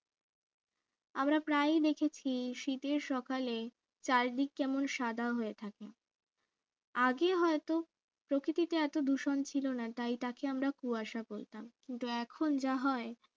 আমরা প্রায়ই দেখেছি শীতের সকালে চারিদিক কেমন সাদা হয়ে থাকে আগে হয়তো প্রকৃতিতে এত দূষণ ছিল না তাই তাকে আমরা কুয়াশা বলতাম কিন্তু এখন যা হয়